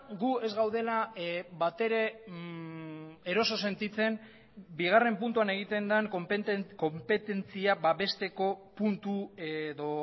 gu ez gaudela batere eroso sentitzen bigarren puntuan egiten den konpetentzia babesteko puntu edo